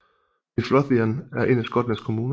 Midlothian er en af Skotlands kommuner